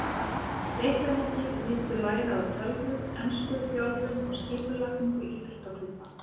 Leikmennirnir myndu læra á tölvur, ensku, þjálfun og skipulagningu íþróttaklúbba.